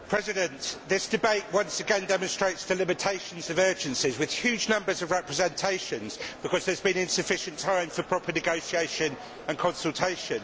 Mr President, this debate once again demonstrates the limitations of urgencies, with huge numbers of representations because there has been insufficient time for proper negotiation and consultation.